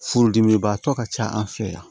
Furudimibaatɔ ka ca an fɛ yan